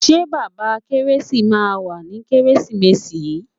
Ṣé bàbá kẹ́résì máa wá ní kẹ́résìmesì yìí.